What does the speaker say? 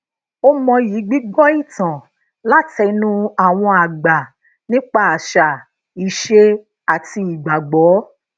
ó mọyi gbígbó ìtàn látẹnu àwọn àgbà nípa àṣà ise àti ìgbàgbó